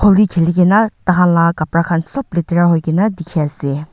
holi khili kena tahanla kapara khan sob letera hoikena dikhi ase.